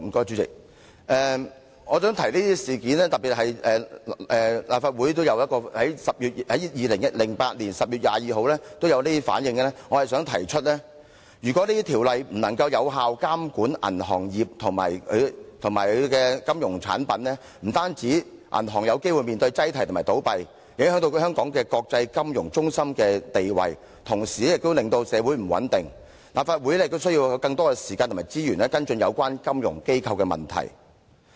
主席，我提出這些事件，特別是立法會在2008年10月22日作出的反應，是要說明如果銀行業監管條例不能有效監管銀行業及其金融產品，不單銀行有機會面對擠提和倒閉，影響香港國際金融中心的地位，同時亦會令社會不穩，因此立法會需要更多時間和資源，跟進有關金融機構的問題。